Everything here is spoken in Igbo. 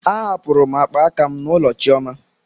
Ahapụrụ m akpa aka m n'ụlọ chioma.